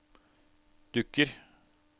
dukker